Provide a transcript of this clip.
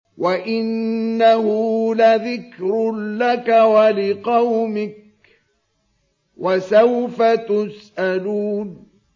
وَإِنَّهُ لَذِكْرٌ لَّكَ وَلِقَوْمِكَ ۖ وَسَوْفَ تُسْأَلُونَ